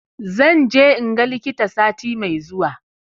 Zan je in ga likita sati mai zuwa